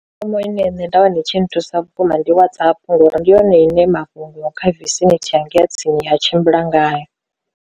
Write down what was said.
Ine nṋe nda wana i tshi nthusa vhukuma ndi WhatsApp ngori ndi yone ine mafhungo kha tsini a tshimbila ngayo.